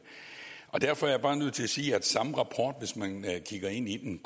derfor er jeg bare nødt til at sige at den samme rapport hvis man kigger ind i den